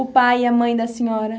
O pai e a mãe da senhora?